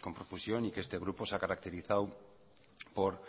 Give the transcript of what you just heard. con profusión y que este grupo se ha caracterizado por